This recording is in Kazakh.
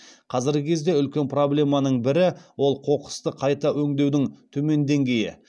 қазіргі кезде үлкен проблеманы бірі ол қоқысты қайта өңдеудің төмен деңгейі